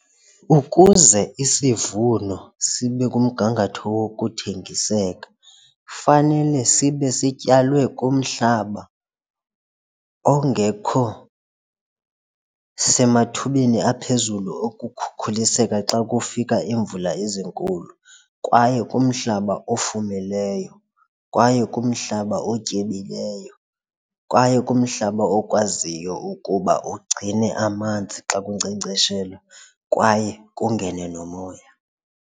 Ukuze isivuno sibe kumgangatho wokuthengiseka fanele sibe sityalwe kumhlaba ongekho semathubeni aphezulu ukukhuliseka xa kufika iimvula ezinkulu kwaye kumhlaba ofumileyo kwaye kumhlaba otyebileyo, kwaye kumhlaba okwaziyo ukuba ugcine amanzi xa kunkcenkceshelwa kwaye kungene nomoya.